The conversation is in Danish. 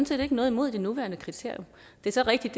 set ikke noget imod de nuværende kriterier det er så rigtigt